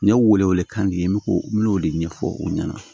N ye wele wele kan di n bɛ k'o n'o de ɲɛfɔ u ɲɛna